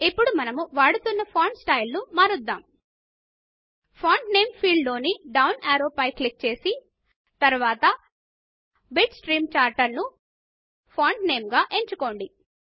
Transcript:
ఇప్పుడు మనము వాడుతున్న ఫాంట్ స్టైల్ ను మారుద్దాము ఇప్పుడు ఫాంట్ నేమ్ ఫీల్డ్ లోని డౌన్ యారో పైన క్లిక్ చేసి తరువాత బిట్స్ట్రీమ్ చార్టర్ ను ఫాంట్ నేమ్ గా ఎంచుకోండి